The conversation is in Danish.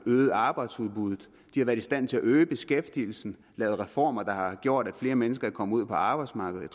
øget arbejdsudbudet de har været i stand til at øge beskæftigelsen lavet reformer der har gjort at flere mennesker er kommet ud på arbejdsmarkedet